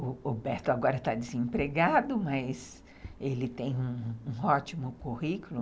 O Roberto agora está desempregado, mas ele tem um ótimo currículo.